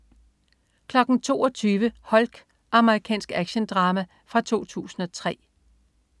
22.00 Hulk. Amerikansk actiondrama fra 2003